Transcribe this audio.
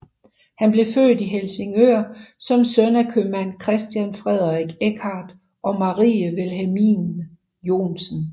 Han blev født i Helsingør som søn af købmand Christian Frederik Eckardt og Marie Vilhelmine Johnsen